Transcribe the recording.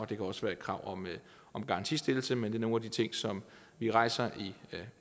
det kan også være et krav om garantistillelse men det er nogle af de ting som vi rejser i